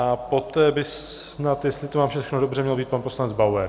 A poté by snad, jestli to mám všechno dobře, měl být pan poslanec Bauer.